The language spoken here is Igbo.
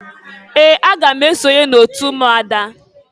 Ee! Aga m esonye n'otu ụmụada.